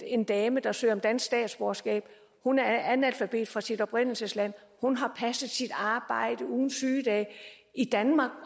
en dame der søger om dansk statsborgerskab hun er analfabet fra sit oprindelsesland hun har passet sit arbejde uden sygedage